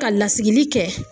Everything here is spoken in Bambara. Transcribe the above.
Ka lasigii kɛ